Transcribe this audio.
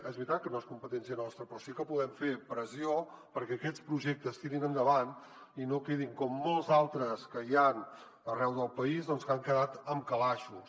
és veritat que no és competència nostra però sí que podem fer pressió perquè aquests projectes tirin endavant i no quedin com molts d’altres que hi han arreu del país que han quedat en calaixos